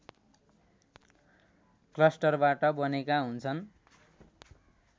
क्लस्टरबाट बनेका हुन्छन्